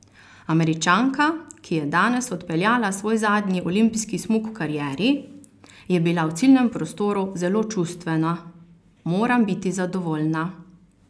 Američanka, ki je danes odpeljala svoj zadnji olimpijski smuk v karieri, je bila v ciljnem prostoru zelo čustvena: "Moram biti zadovoljna.